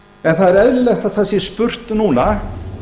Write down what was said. en það er eðlilegt að það sé spurt núna